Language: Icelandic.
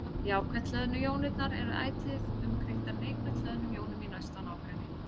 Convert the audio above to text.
Jákvætt hlöðnu jónirnar eru ætíð umkringdar neikvætt hlöðnum jónum í næsta nágrenni.